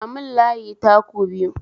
Ja mun layi taku biyu